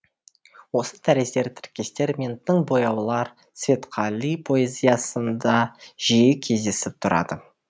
осы тәрізді тіркестер мен тың бояулар светқали поэзиясында жиі кездесіп тұрады